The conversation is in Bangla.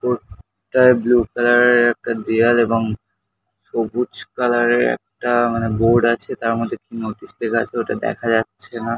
উপরটায় ব্লু কালার -এর একটা দেয়াল এবং সবুজ কালার -এর একটা মানে বোর্ড আছে। তারমধ্যে কিছু নোটিশ লেখা আছে ওটা দেখা যাচ্ছে না।